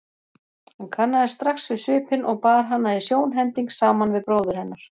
Hann kannaðist strax við svipinn og bar hana í sjónhending saman við bróður hennar.